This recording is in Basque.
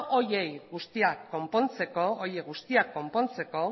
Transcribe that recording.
horiek guztiak konpontzeko